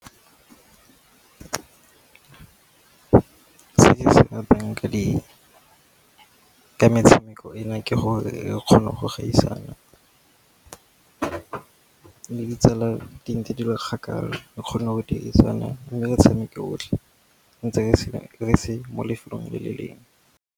Se ke se ratang ka metshameko e na ke gore e kgona go gaisana le ditsala di ntse di le kgakala, di kgone go dirisana mme le tshameko otlhe ntse re se mo lefelong le le lengwe.